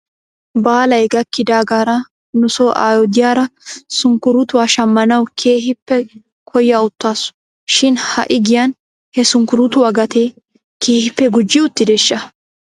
Baalay gakkidaagaara nuso aayo diyaara sunkuruutuwaa shammanaw keehippe koya uttaasu shin ha'i giyan he sunkuruutuwaa gatee keehippe gujji uttideeshsha ?